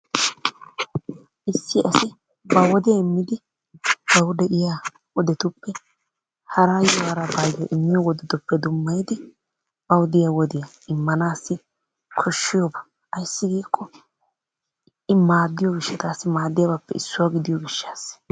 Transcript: Issi asi ba wodiyaa immidi bawu de'iya wodetuppe harayyo harabbayyo immiyo wodetuppe dummayddi baw diya wodiya immanassi koshshiyaaba ayssi giiko I maaddiyo gishshaaassa, maaddiyabappe issuwa gidiyo gishshaassa.